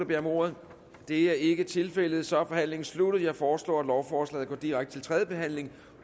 beder om ordet det er ikke tilfældet så er forhandlingen sluttet jeg foreslår at lovforslaget går direkte til tredje behandling